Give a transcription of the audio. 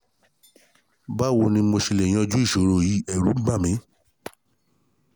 Báwo ni mo ṣe lè yanjú ìṣòro yìí? Ẹ̀rù ń bà mí